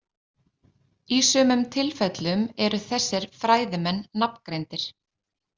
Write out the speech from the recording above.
Í sumum tilfellum eru þessir fræðimenn nafngreindir.